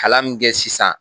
Kalan min kɛ sisan